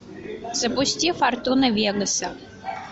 запусти фортуна вегаса